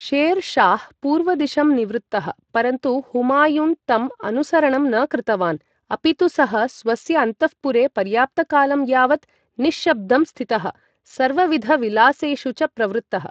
Share Shah पूर्वदिशं निवृत्तः, परन्तु हुमायुन् तम् अनुसरणं न कृतवान्, अपि तु सः स्वस्य अन्तःपुरे पर्याप्तकालं यावत् निश्शब्दं स्थितः, सर्वविधविलासेषु च प्रवृत्तः।